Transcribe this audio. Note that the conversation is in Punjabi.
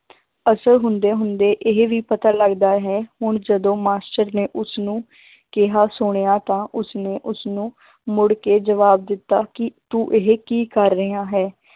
ਅਸਰ ਹੁੁੰਦੇ ਹੁੰਦੇ ਇਹ ਵੀ ਪਤਾ ਲੱਗਦਾ ਹੈ ਹੁਣ ਜਦੋਂ ਮਾਸ਼ਟਰ ਨੇ ਉਸਨੂੰ ਕਿਹਾ ਸੁਣਿਆ ਤਾਂ ਉਸਨੇ ਉਸਨੂੰ ਮੁੜ ਕੇ ਜਵਾਬ ਦਿੱਤਾ ਕਿ ਤੂੰ ਇਹ ਕੀ ਕਰ ਰਿਹਾ ਹੈ,